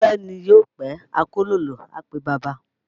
Pípẹ́ ni yóò pẹ́, akólòlò á pe baba